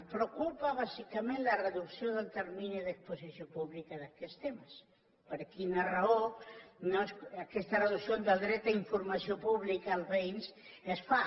ens preocupa bàsicament la reducció del termini d’exposició pública d’aquests temes per quina raó aquesta reducció del dret a informació pública als veïns es fa